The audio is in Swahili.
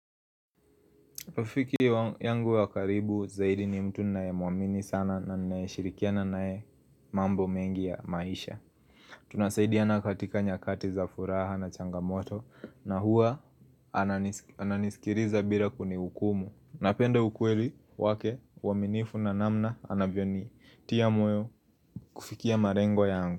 Ufiki yangu wa karibu zaidi ni mtu ninae muamini sana na nae shirikiana nae mambo mengi ya maisha Tunasaidiana katika nyakati za furaha na changamoto na huwa ananisikiriza bila kuni hukumu Napenda ukweli wake waminifu na namna anavyoni tia moyo kufikia marengo yangu.